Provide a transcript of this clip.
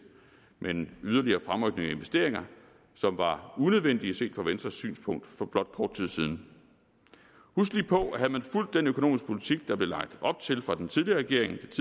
med en yderligere fremrykning af investeringer som var unødvendig set fra venstres synspunkt for blot kort tid siden husk lige på at havde man fulgt den økonomiske politik der blev lagt op til fra den tidligere regerings